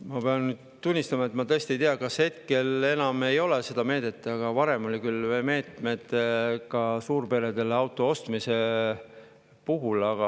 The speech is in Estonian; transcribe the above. Ma pean nüüd tunnistama, et ma tõesti ei tea, kas enam ei ole seda meedet, aga varem oli küll meede ka suurperedele auto ostmise jaoks.